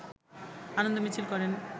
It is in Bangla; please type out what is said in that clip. আনন্দ মিছিল করেন